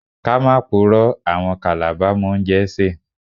Let's not lie, Calabar people can cook.